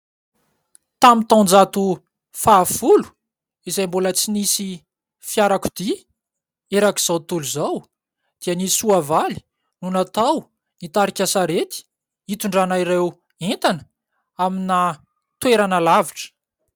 Tamin'ny taonjato fahafolo, izay mbola tsy nisy fiarakodia erak'izao tontolo izao dia ny soavaly no natao nitarika sarety hitondrana ireo entana amina toerana lavitra.